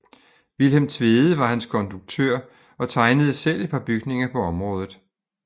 Vilhelm Tvede var hans konduktør og tegnede selv et par bygninger på området